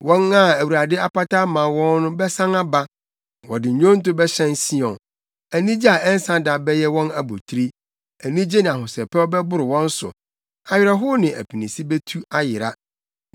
Wɔn a Awurade apata ama wɔn bɛsan aba. Wɔde nnwonto bɛhyɛn Sion; anigye a ɛnsa da bɛyɛ wɔn abotiri, anigye ne ahosɛpɛw bɛboro wɔn so, awerɛhow ne apinisi betu ayera.